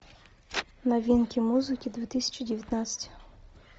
новинки музыки две тысячи девятнадцать